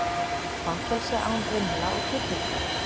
Fangelsi án rimla og girðinga